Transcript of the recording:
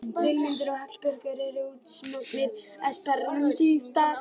Vilmundur og Hallbjörn eru útsmognir esperantistar